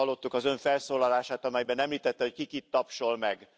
Az imént hallottuk az Ön felszólalását, amelyben említette, hogy ki kit tapsol meg.